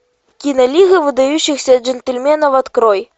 кино лига выдающихся джентльменов открой